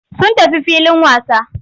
Sun tafi filin wasa.